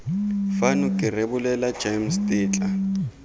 fano ke rebolela gems tetla